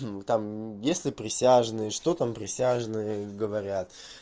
ну вот там есть ли присяжные что там присяжные говорят